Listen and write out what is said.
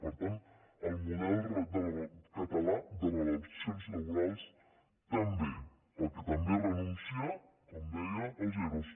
per tant al model català de relacions laborals també perquè també renuncia com deia als ero